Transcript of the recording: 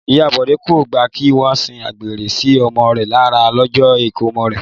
Ìyá Bọ́lá kò gbà kí wọ́n sín gbẹ́rẹ́ sí ọmọ rẹ̀ lára lọ́jọ́ ìkómọ rẹ̀